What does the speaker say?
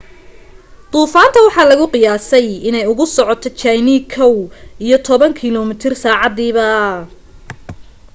duufaanta waxaa lagu qiyaasay inay ugu socoto jayne kow iyo toban kilo mitir saacadiiba